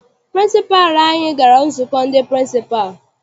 Pịrịnsịpalụ anyị gara nzukọ ndị pịrịnsịpalụ.